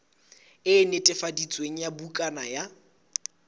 e netefaditsweng ya bukana ya